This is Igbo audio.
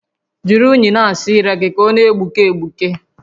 Jiri únyì na-asa ire gị ka ọ na-egbuke egbuke